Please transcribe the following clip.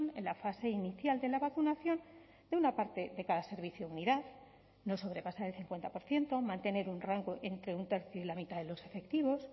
en la fase inicial de la vacunación de una parte de cada servicio o unidad no sobrepasar el cincuenta por ciento mantener un rango entre un tercio y la mitad de los efectivos